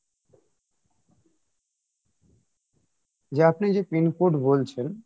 যে আপনি যে pin code বলছেন